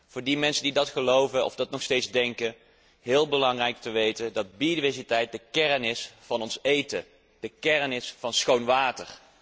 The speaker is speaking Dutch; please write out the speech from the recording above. Voor die mensen die dat geloven of dat nog steeds denken is het heel belangrijk om te weten dat biodiversiteit de kern is van ons voedsel, de kern van schoon water.